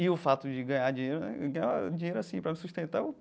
E o fato de ganhar dinheiro né, ganhar dinheiro assim, para me sustentar.